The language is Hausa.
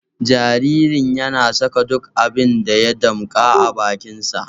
Jaririn yana saka duk abin da ya damƙa a bakinsa